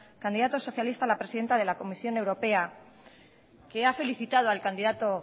candidato socialista a la presidencia de la comisión europea que ha felicitado al candidato